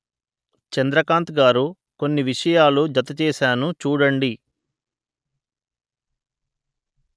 చంద్రకాంత్ గారు కొన్ని విషయాలు జత చేసాను చూడండి